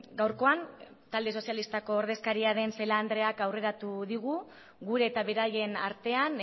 gaurkoan talde sozialistako ordezkaria den celaá andreak aurreratu digu gure eta beraien artean